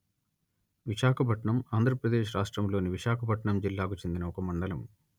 విశాఖపట్నం ఆంధ్ర ప్రదేశ్ రాష్ట్రములోని విశాఖపట్నం జిల్లాకు చెందిన ఒక మండలము